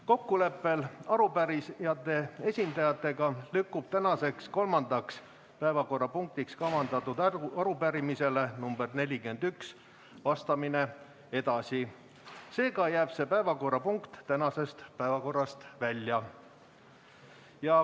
Kokkuleppel arupärijate esindajatega lükkub tänaseks kolmandaks päevakorrapunktiks kavandatud arupärimisele nr 41 vastamine edasi, seega jääb see päevakorrapunkt tänasest päevakorrast välja.